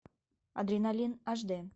адреналин аш д